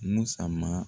Musa